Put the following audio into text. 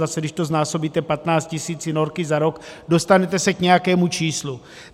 Zase, když to znásobíte 15 tisíci norky za rok, dostanete se k nějakému číslu.